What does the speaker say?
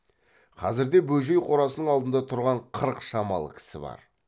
қазірде бөжей қорасының алдында тұрған қырық шамалы кісі бар